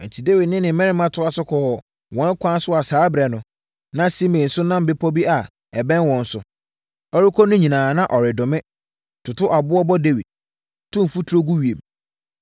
Enti, Dawid ne ne mmarima toaa so kɔɔ wɔn ɛkwan a saa ɛberɛ no, na Simei nso nam bepɔ bi a ɛbɛn wɔn so. Ɔrekɔ no nyinaa, na ɔredome, toto aboɔ bɔ Dawid, tu mfuturo gu ewiem.